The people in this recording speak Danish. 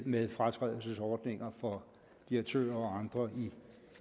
med fratrædelsesordninger for direktører og andre